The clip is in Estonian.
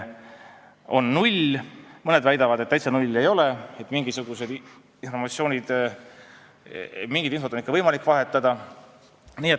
Mõned küll väidavad, et täitsa null see ei ole, et mingisugust informatsiooni on ikka võimalik vahetada.